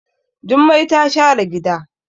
Jummai ta share gida.